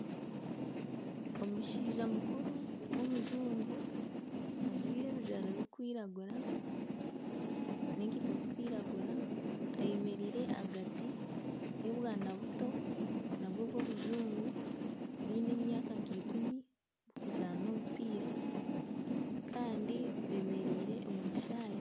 Omushaija mukuru w'omujungu ajwaire ebijwaro birikwiragura n'ekaito zirikwiragura ayemereire ahagati y'obwana buto nabwo bw'obujungu bwine emyaka nka ikumi burikuzaana omupiira kandi bemereire omu kishaayi.